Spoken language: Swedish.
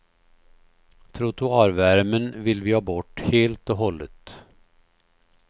Trottoarvärmen vill vi ha bort helt och hållet.